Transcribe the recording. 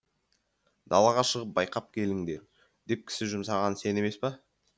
далаға шығып байқап келіңдер деп кісі жұмсаған сен емес пе